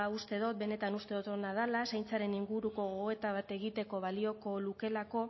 uste dut benetan uste dut ona dela zaintzaren inguruko gogoeta bat egiteko balioko lukeelako